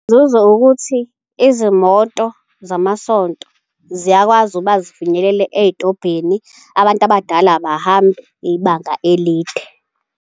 Inzuzo ukuthi izimoto zamasonto ziyakwazi ukuba zifinyelele ey'tobhini. Abantu abadala abahambi ibanga elide.